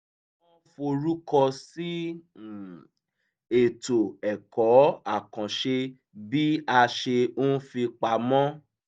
wọ́n forúkọ sí um ètò ẹ̀kọ́ àkànṣe bí a ṣe ń fipamọ́